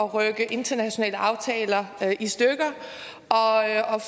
at rive internationale aftaler i stykker og